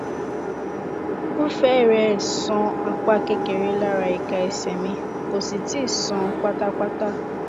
o fẹrẹẹ sàn apá kékeré lára ika ese mi kò sì tíì sàn pátápátá